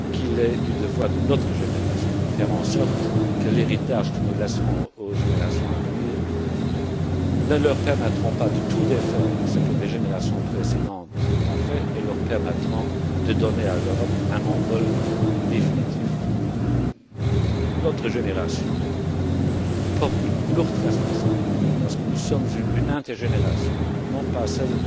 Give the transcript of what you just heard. Qu'il est du devoir de notre génération de faire en sorte que l'héritage que nous laissons aux générations à venir ne leur permette pas de défaire ce que les générations précédentes ont fait mais leur permette de donner à l'Europe un envol définitif. Notre génération porte une lourde responsabilité, parce que nous sommes une inter génération, non pas celle